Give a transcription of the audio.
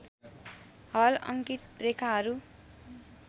हल अङ्कित रेखाहरू